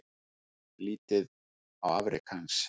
Lítið á afrek hans